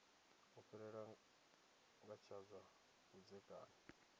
fhirela nga kha zwa vhudzekani